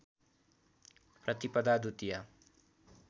प्रतिपदा द्वितिया